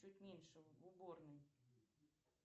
чуть меньше в уборной